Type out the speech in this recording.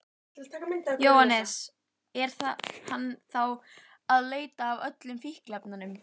Þeir fá vonandi botn í þetta félagar mínir hjá efnahagsbrotadeild.